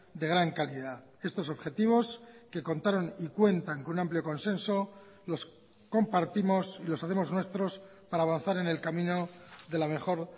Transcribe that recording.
de gran calidad estos objetivos que contaron y cuentan con amplio consenso los compartimos y los hacemos nuestros para avanzar en el camino de la mejor